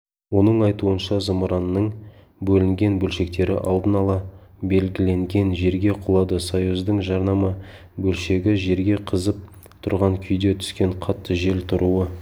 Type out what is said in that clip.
оның айтуынша зымыранның бөлінген бөлшектері алдын ала белгіленген жерге құлады союздың жанама бөлшегі жерге қызып тұрған күйде түскен қатты жел тұруы